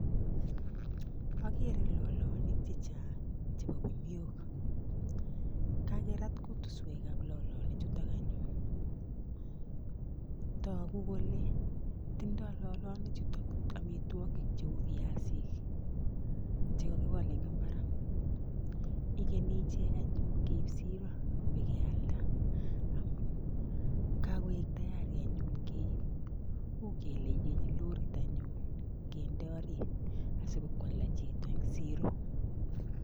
Agere lolonik che chang chebo kuniok kakerat kutuswek ap lolonik chutok anyun toku kole tindoi lolonichuto omitwokik cheu viasik chekakipolei eng mbar ikenyi anyun ichek keip siro pikealda amun kakoek tayarianyun keip ukele ikenyi lorit anyun kende orit asikopokwalda chito eng siro.